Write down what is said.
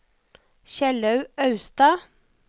Kjellaug Austad